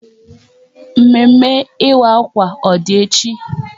Mme mme ịwa akwa ọ dị echi?